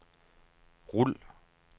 rul